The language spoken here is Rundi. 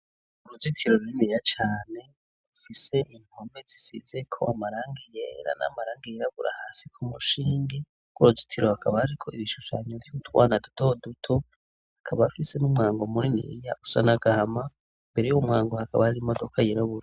Uruzitiro ru rininiya cane ufise inpome zisize ko amaranga yera n' amaranga yirabura hasi ku mushingi rw'uruzitiro hakaba ari ko ibishushanyo vy'utwana duto duto akaba afise n'umwango muniniya usa n'agahama, mbere y'umwango hakaba ari imodoka yirabura.